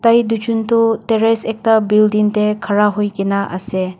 bhai tujon toh terrace ekta building tae khara hoikaenaase.